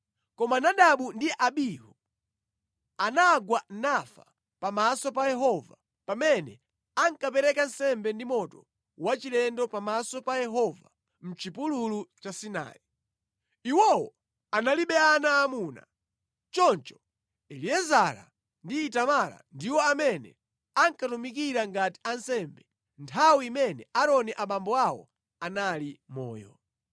Koma Nadabu ndi Abihu, anagwa nafa pamaso pa Yehova pamene ankapereka nsembe ndi moto wachilendo pamaso pa Yehova mʼchipululu cha Sinai. Iwowo analibe ana aamuna. Choncho Eliezara ndi Itamara ndiwo amene ankatumikira ngati ansembe nthawi imene Aaroni abambo awo anali moyo.